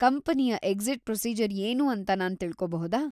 ಕಂಪನಿಯ exit procedure ಏನು ಅಂತ ನಾನ್ ತಿಳ್ಕೋಬಹುದಾ?